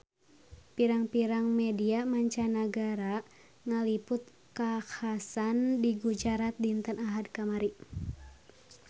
Pirang-pirang media mancanagara ngaliput kakhasan di Gujarat dinten Ahad kamari